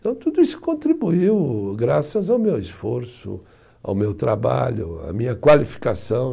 Então tudo isso contribuiu graças ao meu esforço, ao meu trabalho, à minha qualificação.